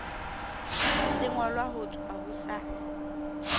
sengolwa ho tswa ho sa